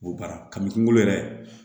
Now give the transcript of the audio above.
O baara kanu kunkolo yɛrɛ